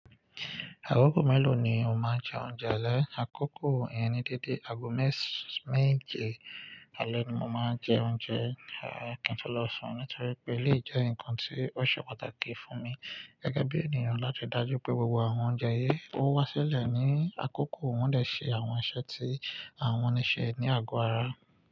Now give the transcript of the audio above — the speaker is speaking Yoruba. Àgọ̀gọ̀ mélòó ni o máa ń jẹ oúnjẹ alẹ́? Àkókò ìyẹn ní dédé, àgọ̀ mẹ́s–meje alẹ́ ni mo máa ń jẹ oúnjẹ kí n tó lọ sùn nítorí pé eléyìí jẹ́ ǹkan tí ó ṣe pàtàkì fún mi gẹ́gẹ́ bí ènìyàn láti dájú pé gbogbo àwọn oúnjẹ yii ó wá sílẹ̀ ní àkókò wọ́n lè ṣe àwọn iṣẹ́ tí àwọn ní ṣe ní àgọ́ ara.